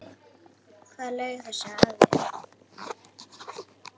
Hver laug þessu að þér?